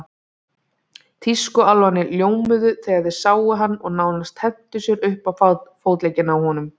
Tískuálfarnir ljómuðu þegar þeir sáum hann og nánast hentu sér um fótleggina á honum.